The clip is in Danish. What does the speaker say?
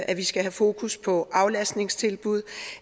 at vi skal have fokus på aflastningstilbud